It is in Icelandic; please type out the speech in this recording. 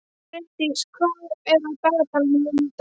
Brimdís, hvað er á dagatalinu mínu í dag?